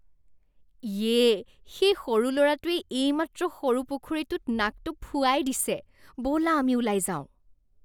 ইয়ে! সেই সৰু ল'ৰাটোৱে এইমাত্ৰ সৰু পুখুৰীটোত নাকটো ফুৱাই দিছে। ব'লা আমি ওলাই যাওঁ।